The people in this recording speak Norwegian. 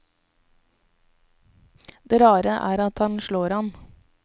Det rare er at han slår an.